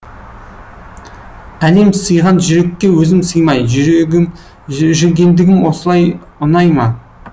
әлем сыйған жүрекке өзім сыймай жүргендігім осылай ұнай ма